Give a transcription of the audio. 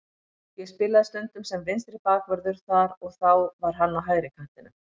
Ég spilaði stundum sem vinstri bakvörður þar og þá var hann á hægri kantinum.